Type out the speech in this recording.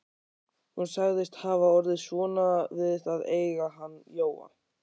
Hún sagðist hafa orðið svona við að eiga hann Jóa.